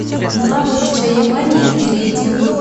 навык чаемания перейди в